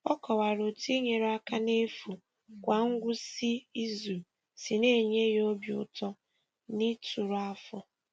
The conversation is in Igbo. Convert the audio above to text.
Ọ kọwara otú inyere aka n’efu kwa ngwụsị izu si na-enye ya obi ụtọ na ituru afọ.